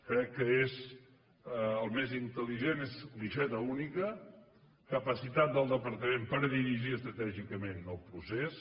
crec que el més intel·ligent és guixeta única capacitat del departament per dirigir estratègicament el procés